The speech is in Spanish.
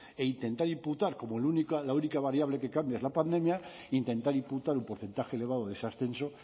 e intentar imputar como la única variable que cambia es la pandemia intentar imputar un porcentaje elevado de ese ascenso